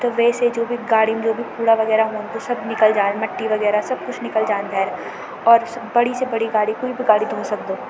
त वेसे जू भी गाडीम जू भी कूड़ा वगैरा हुयुं सब निकल जाण मट्टी वगैरा सब कुछ निकल जाण भैर और बड़ी से बड़ी गाडी कुई भी गाडी धो सक्दो।